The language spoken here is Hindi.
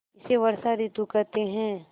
इसे वर्षा ॠतु कहते हैं